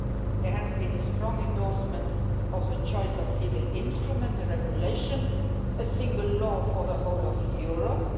There has been a strong endorsement of the choice of legal instrument the regulation, a single law for the whole of Europe.